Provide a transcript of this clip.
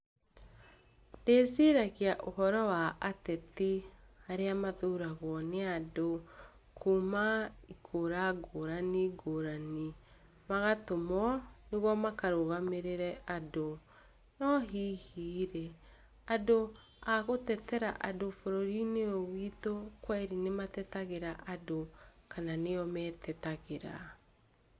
Ndĩciragia ũhoro wa ateti arĩa mathuragwo nĩ andũ kuuma ngũra ngũrani ngũrani magatũmwo, nĩguo makarũgamĩrĩre andũ . No hihi-rĩ, andũ agũtetera andũ bũrũri-inĩ ũyũ witũ kweli nĩmatetagĩra andũ, kana nĩo metetagĩra.